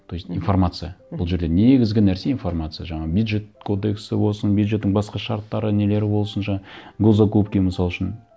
то есть информация мхм бұл жерде негізгі нәрсе информация жаңағы бюджет кодексі болсын бюджеттің басқа шарттары нелері болсын госзакупки мысал үшін